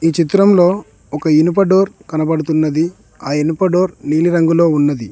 ఈ చిత్రంలో ఒక ఇనుప డోర్ కనబడుతున్నది ఆ ఇనుప డోర్ నీలి రంగులో ఉన్నది.